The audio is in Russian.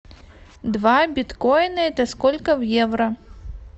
два биткоина это сколько в евро